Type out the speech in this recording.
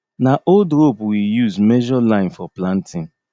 na old rope we use measure line for planting